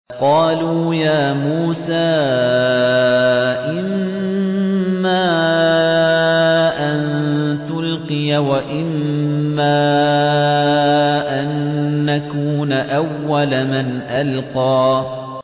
قَالُوا يَا مُوسَىٰ إِمَّا أَن تُلْقِيَ وَإِمَّا أَن نَّكُونَ أَوَّلَ مَنْ أَلْقَىٰ